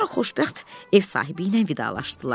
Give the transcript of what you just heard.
Sonra xoşbəxt ev sahibi ilə vidalaşdılar.